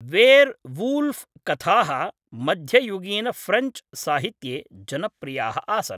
वेर् वूल्फ़् कथाः मध्ययुगीनफ़्रेञ्च् साहित्ये जनप्रियाः आसन्।